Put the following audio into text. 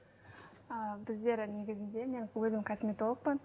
ыыы біздер негізінде мен өзім косметологпын